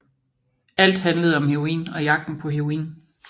Alt handlede om heroin og jagten på heroin